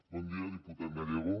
bon dia diputat gallego